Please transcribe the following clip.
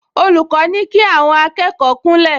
Olùkọ́ ní kí àwọn akẹ́kọ̀ọ kúnlẹ̀